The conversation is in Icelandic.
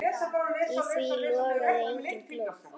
Í því logaði engin glóð.